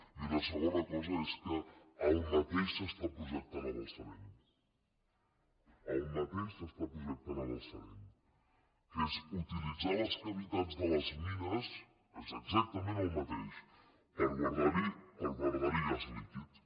i una segona cosa és que el mateix s’està projectant a balsareny el mateix s’està projectant a balsareny que és utilitzar les cavitats de les mines és exactament el mateix per guardar hi gas líquid